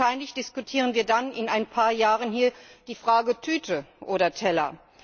Und wahrscheinlich diskutieren wir dann in ein paar Jahren hier die Frage Tüte oder Teller.